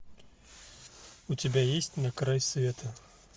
у тебя есть на край света